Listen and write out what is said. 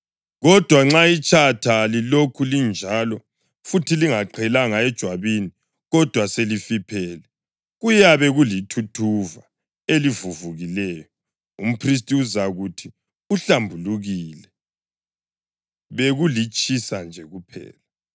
Kodwa nxa itshatha lilokhu linjalo futhi lingaqhelanga ejwabini kodwa selifiphele, kuyabe kulithuthuva elivuvukileyo, umphristi uzakuthi uhlambulukile, bekulitshisa nje kuphela.